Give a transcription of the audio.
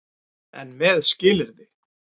EN MEÐ SKILYRÐI.